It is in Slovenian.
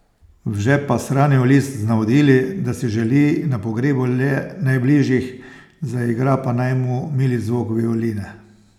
V žep pa shranil list z navodili, da si želi na pogrebu le najbližjih, zaigra pa naj mu mili zvok violine.